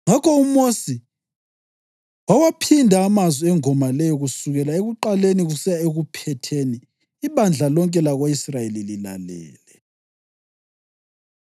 Ngakho uMosi wawaphinda amazwi engoma leyo kusukela ekuqaleni kusiya ekuphetheni ibandla lonke lako-Israyeli lilalele: